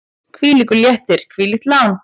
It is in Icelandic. Hvílíkur léttir, hvílíkt lán!